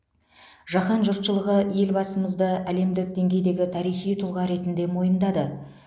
жаһан жұртшылығы елбасымызды әлемдік деңгейдегі тарихи тұлға ретінде мойындады